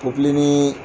Popilenni